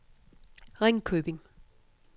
Ringkøbing